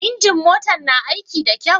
Injin motan ka na aiki da kyau?